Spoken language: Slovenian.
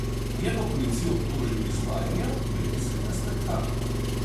Je pa policijo obtožil izvajanja medijskega spektakla.